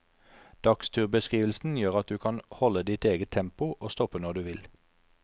Dagsturbeskrivelsen gjør at du kan holde ditt eget tempo og stoppe når du vil.